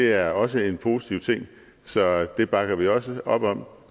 er også en positiv ting så det bakker vi også op om